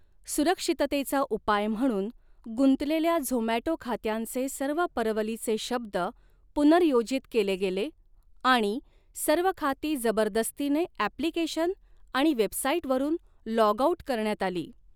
सुरक्षिततेचा उपाय म्हणून, गुंतलेल्या झोमॅटो खात्यांचे सर्व परवलीचे शब्द पुनर्योजित केले गेले आणि सर्व खाती जबरदस्तीने ऍप्लिकेशन आणि वेबसाइटवरून लॉग आउट करण्यात आली.